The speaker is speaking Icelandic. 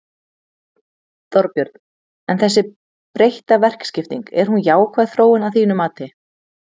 Þorbjörn: En þessi breytta verkaskipting, er hún jákvæð þróun að þínu mati?